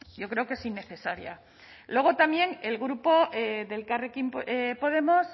yo creo que es innecesaria luego también el grupo elkarrekin podemos